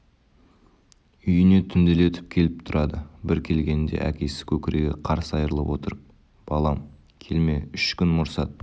үйіне түнделетіп келіп тұрады бір келгенінде әкесі көкірегі қарс айрылып отырып балам келме үш күн мұрсат